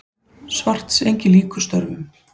Svartsengi lýkur störfum.